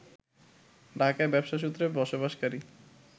ঢাকায় ব্যবসা সূত্রে বসবাসকারী